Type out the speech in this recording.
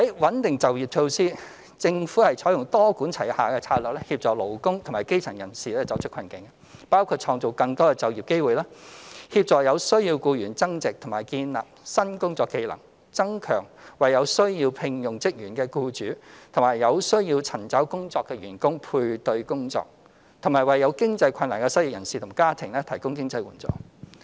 穩定就業措施政府採用多管齊下的策略協助勞工及基層人士走出困境，包括創造更多就業機會、協助有需要僱員增值或建立新工作技能、增強為有需要聘用職員的僱主與有需要尋找工作的員工配對工作，以及為有經濟困難的失業人士及其家庭提供經濟援助。